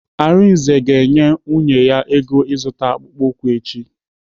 Arinze ga-enye nwunye ya ego ịzụta akpụkpọ ụkwụ echi.